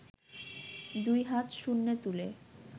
দুই হাত শূন্যে তুলে